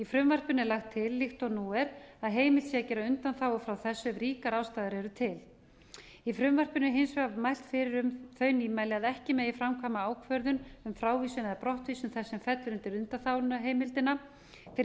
frumvarpinu er lagt til líkt og nú er að heimilt sé að gera undanþágu frá þessu ef ríkar ástæður eru til í frumvarpinu er hins vegar mælt fyrir um þau nýmæli að ekki megi framkvæma ákvörðun um frávísun eða brottvísun þess sem fellur undir undanþáguheimildina fyrr en sú